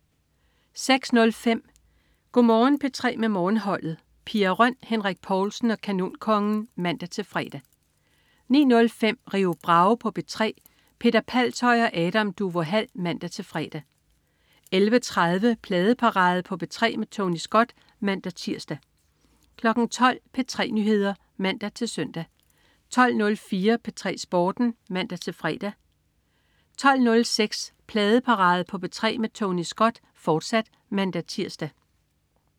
06.05 Go' Morgen P3 med Morgenholdet. Pia Røn, Henrik Povlsen og Kanonkongen (man-fre) 09.05 Rio Bravo på P3. Peter Palshøj og Adam Duvå Hall (man-fre) 11.30 Pladeparade på P3 med Tony Scott (man-tirs) 12.00 P3 Nyheder (man-søn) 12.04 P3 Sporten (man-fre) 12.06 Pladeparade på P3 med Tony Scott, fortsat (man-tirs)